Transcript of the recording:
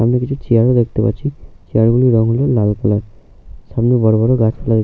সামনে কিছু চেয়ার ও দেখতে পাচ্ছি। চেয়ার গুলোর রং হলো লাল কালার। সামনে বড় বড় গাছপালা র--